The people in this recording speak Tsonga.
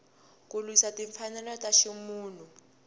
ku lwisa timfanelo ta ximunhu